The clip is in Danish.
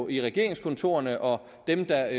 i regeringskontorerne og dem der